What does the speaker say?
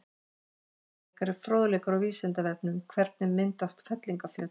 Frekari fróðleikur á Vísindavefnum: Hvernig myndast fellingafjöll?